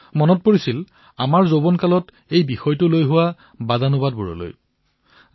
মোৰ নিজৰ যুৱাৱস্থাৰ দিন মনলৈ আহিল যে কিদৰে তেতিয়া এই বিষয়ত ৰাতি ৰাতি বিতৰ্ক হৈছিল